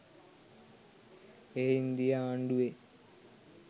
එය ඉන්දීය ආණ්ඩුවේ